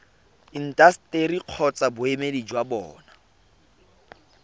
intaseteri kgotsa boemedi jwa bona